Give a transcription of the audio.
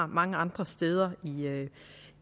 mange andre steder